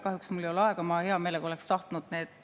Kahjuks mul ei ole aega, ma hea meelega oleks tahtnud …